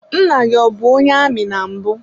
Nna gị ọ bụ onye amị na mbụ.